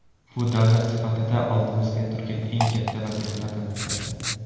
Bu davlat sifatida oldimizda turgan eng katta vazifalardan bittasi.